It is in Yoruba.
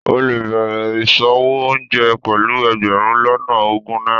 o le bẹrè isòwó oúnjẹ pelú egberun lona ogun naira